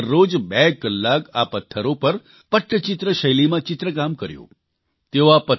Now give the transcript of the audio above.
પછી તેમણે દરરોજ બે કલાક આ પથ્થરો પર પટ્ટચિત્ર શૈલીમાં ચિત્રકામ કર્યું